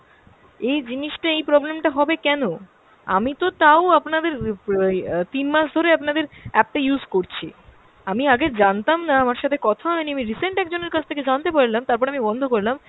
এই জিনিষটা, এই problem টা হবে কেনো? আমিতো তাও আপনাদের ওই তিন মাস ধরে আপনাদের app টা use করছি। আমি আগে জানতাম না, আমার সাথে কথা হয়নি, আমি recent একজনের কাছ থেকে জানতে পারলাম, তারপরে আমি বন্ধ করলাম,